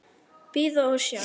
Bíða og sjá.